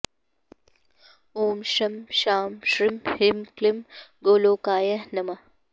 ॐ शं शां षं ह्रीं क्लीं गोलोकाय नमः